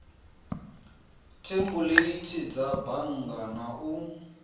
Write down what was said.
thempuleithi dza bannga na u